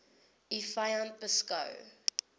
u vyand beskou